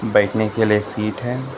बैठने के लिए सीट है।